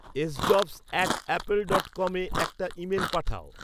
sjobs at apple dot com এ একটা email পাঠাও